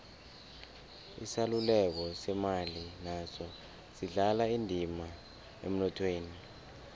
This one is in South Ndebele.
isaluleko semali naso sidlala indima emnothweni